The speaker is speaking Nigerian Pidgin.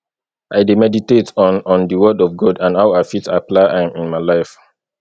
i dey meditate on on di word of god and how i fit apply am in my life